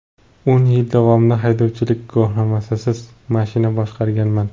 O‘n yil davomida haydovchilik guvohnomasisiz mashina boshqarganman.